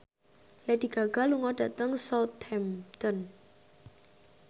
Lady Gaga lunga dhateng Southampton